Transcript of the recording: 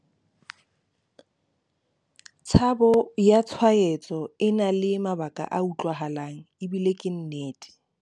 Tshabo ya tshwaetso e na le mabaka a utlwahalang ebile ke nnete.